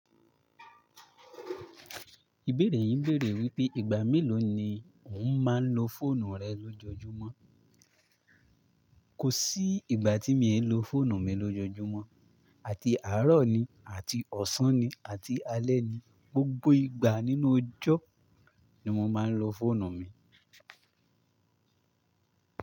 Ìbéèrè yín béèrè wípé ìgbà mélòó ni òún máa ń lo fóònù rẹ lójoojúmọ́. Kò sí ìgbà tí mi ń lo fóònù mi lójoojúmọ́. Àti àárọ̀ ni àti ọ̀sán ni àti alẹ́ ni, gbogbo ìgbà nínú ojó ni mo máa ń lo fóònù mi.